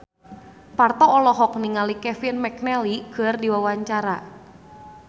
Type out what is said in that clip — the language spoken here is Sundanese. Parto olohok ningali Kevin McNally keur diwawancara